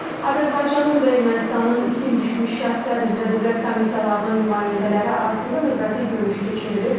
Azərbaycanın və Ermənistanın itkin düşmüş şəxslər üzrə dövlət komissiyalarının nümayəndələri arasında növbəti görüş keçirilib.